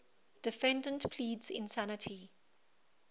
defendant pleads insanity